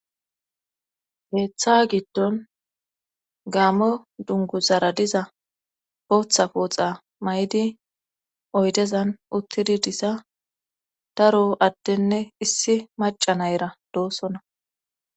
Heeththa giddon gaamo dunguzara diza potha pooxa may7di oydezan uttidi disa daro adtenne issi maca nayra doosona.